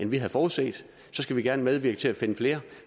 vi havde forudset skal vi gerne medvirke til at finde flere